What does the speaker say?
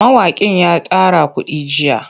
Mawaƙin ya tara kuɗi jiya.